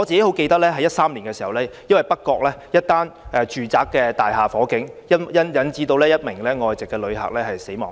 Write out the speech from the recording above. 我記得2013年北角一座住宅大廈發生火警，引致一名外籍旅客死亡。